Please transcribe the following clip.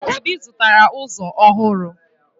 Obi zụtara ụzọ ọhụrụ